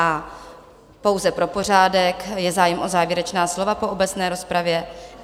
A pouze pro pořádek: Je zájem o závěrečná slova po obecné rozpravě?